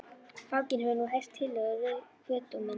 Fanginn hefur nú heyrt tillögur kviðdómenda.